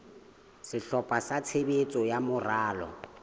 sehlopha sa tshebetso sa moralo